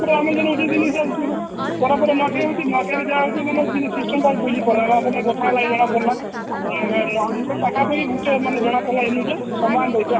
ସେଟା ଆମେ ଯୋଉଁ ପରେ ପରେ ନୂଆଖାଇ ହଉଛି ନୂଆଖାଇରେ ଯାହା ହଉଛି system ଟା ବୁଝି ପରବା ଆପଣଙ୍କ ସହ କଥାହେଲା ପରେ ଜନା ପଡଲା ଆପଣ ମାନକ ସେ ପାଖ ପାଖି ଗୁଟେ ମାନେ ଜଣା ପଡିଲା ସମାନ ଦୁଇଟା